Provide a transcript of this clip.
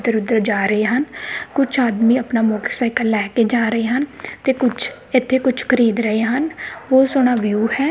ਏਧਰ ਉਦਰ ਜਾ ਰਹੇ ਹਨ ਕੁਝ ਆਦਮੀ ਆਪਣਾ ਮੋਟਰਸਾਈਕਲ ਲੈ ਕੇ ਜਾ ਰਹੇ ਹਨ ਤੇ ਕੁਛ ਇਥੇ ਕੁਝ ਖਰੀਦ ਰਹੇ ਹਨ ਬਹੁਤ ਸੋਹਣਾ ਵਿਊ ਹੈ।